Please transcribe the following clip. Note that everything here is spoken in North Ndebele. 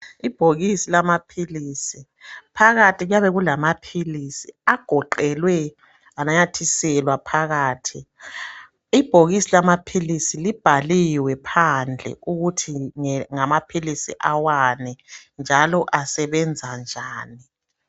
Ibhokisi lamaphilisi, phakathi kuyabe kulamaphilisi agoqelwe ananyathiselwa phakathi . Ibhokisi lamaphilisi libhaliwe phandle ukuthi ngamaphilisi awani njalo asebenza njani.